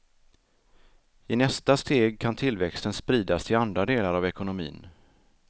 I nästa steg kan tillväxten spridas till andra delar av ekonomin.